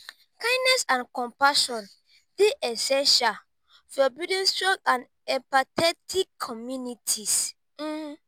kindness and compassion dey essential for building strong and empathetic communities.